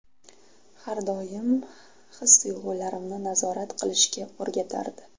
Har doim his-tuyg‘ularimni nazorat qilishga o‘rgatardi.